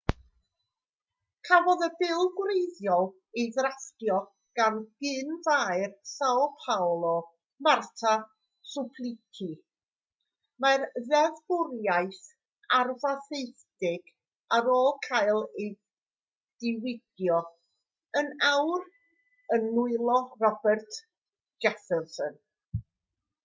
cafodd y bil gwreiddiol ei ddrafftio gan gyn-faer são paolo marta suplicy. mae'r ddeddfwriaeth arfaethedig ar ôl cael ei diwygio yn awr yn nwylo roberto jefferson